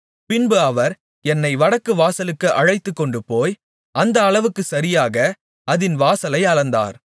பின்பு அவர் என்னை வடக்குவாசலுக்கு அழைத்துக்கொண்டுபோய் அந்த அளவுக்குச் சரியாக அதின் வாசலை அளந்தார்